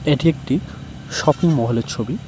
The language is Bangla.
এটি একটি শপিং মহলের ছবি।